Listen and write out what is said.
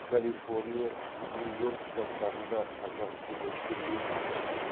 калифорния нью йорк штаттарында қазақ студенттер өте көп